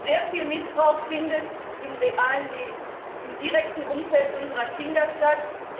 Sehr viel Missbrauch findet im realen Leben, im direkten Umfeld unserer Kinder statt.